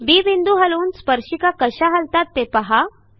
बी बिंदू हलवून स्पर्शिका कशा हलतात ते पहा